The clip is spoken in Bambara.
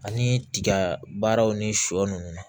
Ani tiga baaraw ni shɔ ninnu